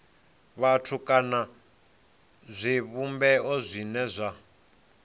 vhathu kana zwivhumbeo zwine zwa